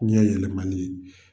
Ɲɛ yɛlɛmali ye.